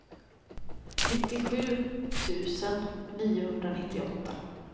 nittiosju tusen niohundranittioåtta